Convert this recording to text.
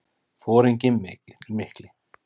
Foringinn mikli.